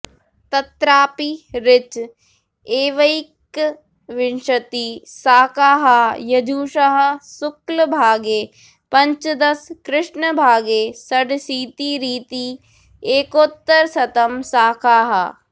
तत्रापि ऋच एवैकविंशतिः शाखाः यजुषः शुक्लभागे पञ्चदश कृष्णभागे षडशीतिरिति एकोत्तरशतं शाखाः